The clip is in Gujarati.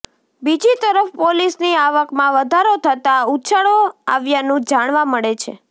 બીજી તરફ પોલીસની આવકમાં વધારો થતા ઉછાળો આવ્યાનું જાણવા મળે છે